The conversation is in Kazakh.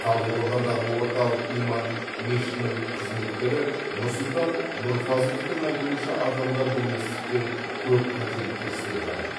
талдықорғандағы орталық иман мешітінің қызметкері нұрсұлтан нұрфазыловтың айтуынша адамдар білместіктен көп қателіктер істеп жатыр